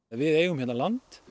við eigum hérna land